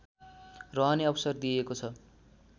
रहने अवसर दिएको छ